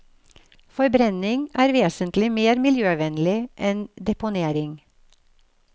Forbrenning er vesentlig mer miljøvennlig enn deponering.